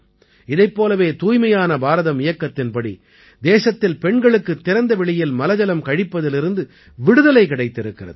இதைப் போலவே தூய்மையான பாரதம் இயக்கத்தின்படி தேசத்தில் பெண்களுக்குத் திறந்த வெளியில் மலஜலம் கழிப்பதிலிருந்து விடுதலை கிடைத்திருக்கிறது